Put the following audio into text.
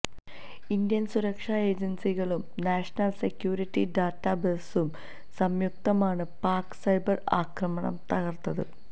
Indian സുരക്ഷാ ഏജന്സികളും national security data ബേസും സംയുക്തമായാണ് പാക്ക് സൈബര് ആക്രമണം തകര്ത്തത്